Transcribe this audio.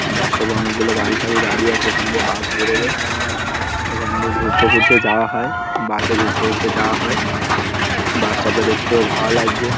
বাস stop -এ অনকে গুলো গাড়ি ফাঁড়ি দাঁড়িয়ে আছে এইখান দিয়ে বাস বেরোবে এইখান দিয়ে ঘুরতে ফুরতে যায় হয় বাস -এ ঘুরতে ফুরতে যাওয়া হয় বাস স্টপ -টা দেখতেও ভালো লাগছে ।